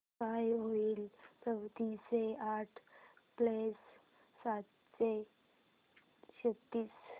काय होईल चौदाशे आठ प्लस सातशे छ्त्तीस